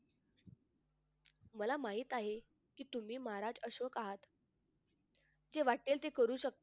मला माहित आहे कि तुम्ही महाराज अशोक आहात जे वाटेल ते करू शकता